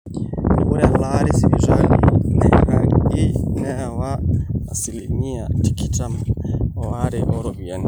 ore elaare esipitali nairagi neewa asilimia tikitam oare ooropiyiani